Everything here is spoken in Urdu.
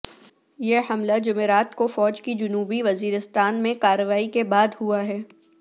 یہ حملہ جمعرات کو فوج کی جنوبی وزیرستان میں کارروائی کے بعد ہوا ہے